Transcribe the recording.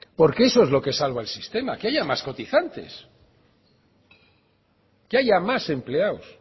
porque eso es lo que salva el sistema que haya más cotizantes que haya más empleados